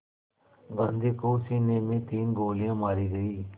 गांधी को सीने में तीन गोलियां मारी गईं